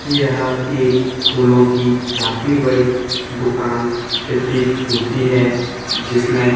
यह एक फूलों की काफी बड़ी दुकान प्रतीत होती है जिसमें--